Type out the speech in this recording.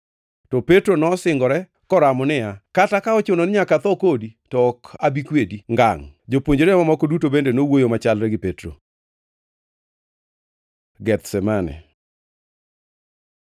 To Petro nosingore koramo niya, “Kata ka ochuno ni nyaka atho kodi, to ok abi kwedi ngangʼ.” Jopuonjre mamoko duto bende nowuoyo machalre gi Petro. Gethsemane